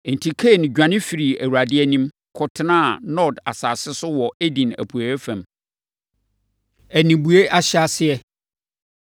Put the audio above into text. Enti, Kain dwane firii Awurade anim, kɔtenaa Nod asase so wɔ Eden apueeɛ fam. Anibue Ahyɛaseɛ